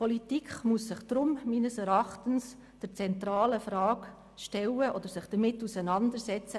Die Politik muss sich deshalb meines Erachtens mit der zentralen Frage auseinandersetzen: